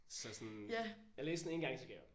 Så sådan jeg læste den en gang og så gav jeg op